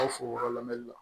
Aw fo yɔrɔ lamɛnli la